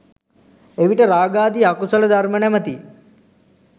එවිට රාගාදී අකුසල ධර්ම නමැති